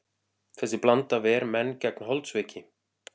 Þessi blanda ver menn gegn holdsveiki.